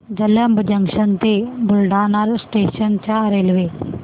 Jalamb junction ते Buldhana station च्या railway